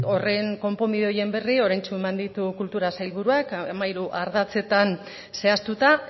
konponbide horien berri oraintsu eman ditu kultura sailburuak hamairu ardatzetan zehaztuta